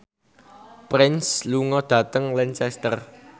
Prince lunga dhateng Lancaster